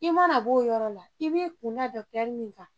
I mana b'o yɔrɔ la k'i b'i kun da dɔkitɛri min kan